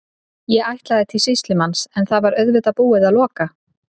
Ég ætlaði til sýslumanns en það var auðvitað búið að loka.